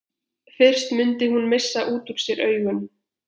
Fyrst mundi hún missa út úr sér augun.